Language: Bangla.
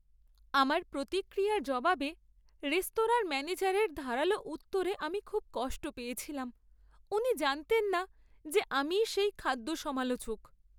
আমার প্রতিক্রিয়ার জবাবে রেস্তোরাঁর ম্যানেজারের ধারালো উত্তরে আমি খুব কষ্ট পেয়েছিলাম। উনি জানতেন না যে আমিই সেই খাদ্য সমালোচক।